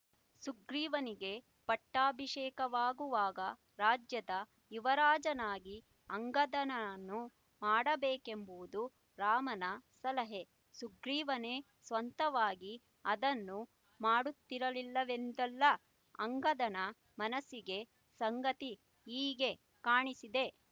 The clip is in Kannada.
ಸುಗ್ರೀವನಿಗೆ ಪಟ್ಟಾಭಿಷೇಕವಾಗುವಾಗ ರಾಜ್ಯದ ಯುವರಾಜನಾಗಿ ಅಂಗದನನ್ನು ಮಾಡಬೇಕೆಂಬುದು ರಾಮನ ಸಲಹೆ ಸುಗ್ರೀವನೇ ಸ್ವಂತವಾಗಿ ಅದನ್ನು ಮಾಡುತ್ತಿರಲಿಲ್ಲವೆಂದಲ್ಲ ಅಂಗದನ ಮನಸ್ಸಿಗೆ ಸಂಗತಿ ಹೀಗೆ ಕಾಣಿಸಿದೆ